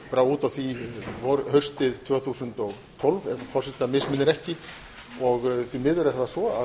brá út af því haustið tvö þúsund og tólf ef forseta misminnir ekki og